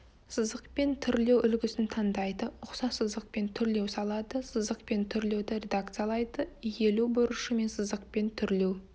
сызықпен түрлеу үлгісін таңдайды ұқсас сызықпен түрлеу салады сызықпен түрлеуді редакциялайды иілу бұрышы мен сызықпен түрлеу